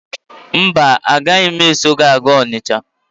Mba, anaghị m eso gị a gaa Ọnịcha.